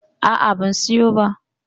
A'a, ban siyo ba.